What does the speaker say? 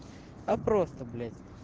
а просто блять